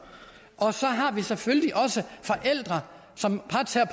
og så har vi selvfølgelig også forældre som